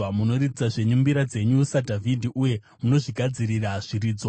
Munoridza zvenyu mbira dzenyu saDhavhidhi, uye munozvigadzirira zviridzwa.